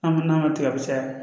An bɛ n'a ma tigɛ kosɛbɛ